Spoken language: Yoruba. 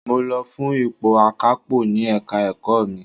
Mo lọ fún ipò akapo ní Ẹ̀ka-ẹ̀kọ́ mi.